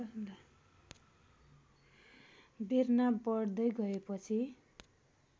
बेर्ना बढ्दै गएपछि